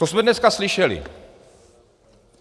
To jsme dneska slyšeli.